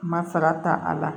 Masara ta a la